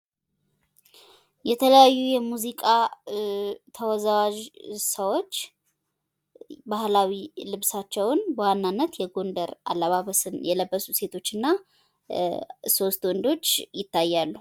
የተለያዩ የሙዚቃ ተወዛዋዥ ሰዎች ባህላዊ ልብሳቸውን በዋናነት የጎንደር አለባበስን የለበሱ ሴቶች እና ሶስት ወንዶች ይታያሉ።